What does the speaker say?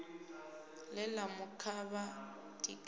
ḽe ḽa mu kavha tikedzani